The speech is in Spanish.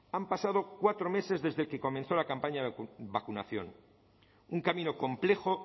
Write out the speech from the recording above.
han pasado cuatro meses desde que comenzó la campaña de vacunación un camino complejo